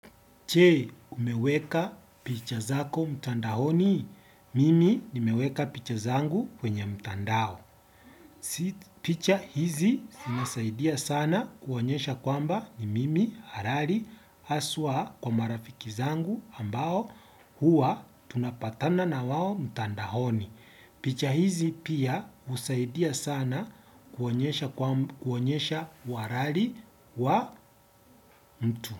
Je, umeweka picha zako mtandaoni? Mimi nimeweka picha zangu kwenye mtandao. Picha hizi zinasaidia sana kuonyesha kwamba ni mimi halali haswa kwa marafiki zangu ambao huwa tunapatana na wao mtandaoni. Picha hizi pia husaidia sana kuonyesha uhalali wa mtu.